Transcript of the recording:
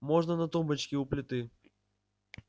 можно на тумбочке у плиты